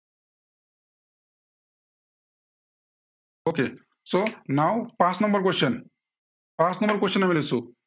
so now পাঁচ number question পাঁচ number question আমি লৈছো।